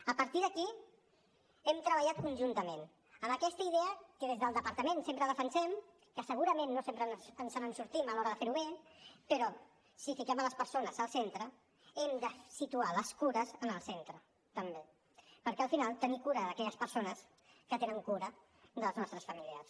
a partir d’aquí hem treballat conjuntament amb aquesta idea que des del departament sempre defensem que segurament no sempre ens en sortim a l’hora de fer ho bé però si fiquem les persones al centre hem de situar les cures en el centre també per al final tenir cura d’aquelles persones que tenen cura dels nostres familiars